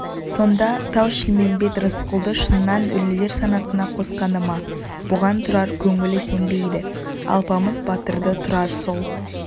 сонда тау-шілмембет рысқұлды шыннан өлілер санатына қосқаны ма бұған тұрар көңілі сенбейді алпамыс батырды тұрар сол